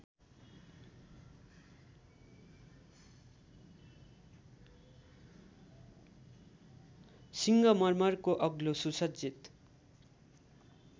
सिङ्गमर्मरको अग्लो सुसज्जित